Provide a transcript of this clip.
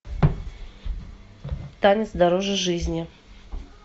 танец дороже жизни